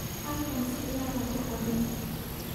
Halkan sigaar ha ku cabin.